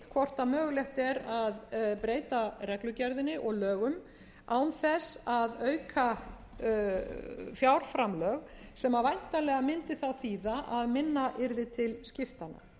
hvort mögulegt er að breyta reglugerðinni og lögum án þess að auka fjárframlög sem væntanlega mundi þá þýða að minna yrði til skiptanna